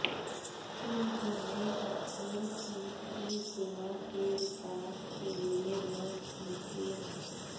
उन्होंने अपील की कि गोवा के विकास के लिए वोट दीजिए